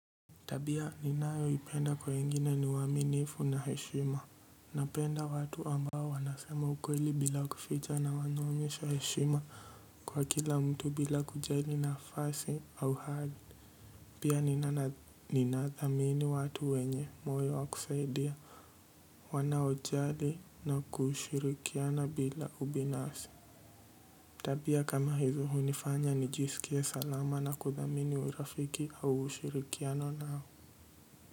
Tabia ninayoipenda kwa wengine ni uaminifu na heshima. Napenda watu ambao wanasema ukweli bila kuficha na wanaonyesha heshima kwa kila mtu bila kujali nafasi au hali. Pia ninadhamini watu wenye moyo wa kusaidia, wanaojali na kushirikiana bila ubinafsi. Tabia kama hizi hunifanya nijisikie salama na kuthamini urafiki au ushirikiano nao.